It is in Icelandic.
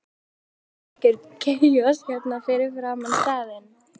Myndast ekki algjör kaos hérna fyrir framan staðinn?